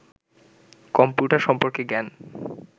computer সম্পর্কে জ্ঞান